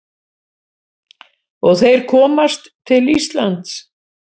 Og þeir komast til Íslands.